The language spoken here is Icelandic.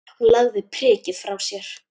Hún lagði prikið frá sér.